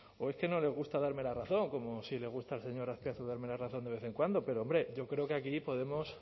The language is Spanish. o es que no les gusta darme la razón como sí le gusta al señor azpiazu darme la razón de vez en cuando pero hombre yo creo que aquí podemos